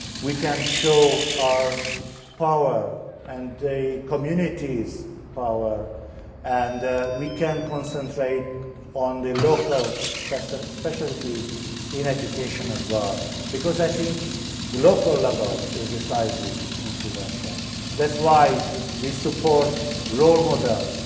We can show our power and the communities' power and we can concentrate on the local specialties in education as well, because I think the local level is decisive in prevention. That is why we support role models.